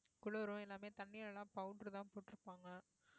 குளிரும் எல்லாமே தண்ணீல எல்லாம் powder தான் போட்டு இருப்பாங்க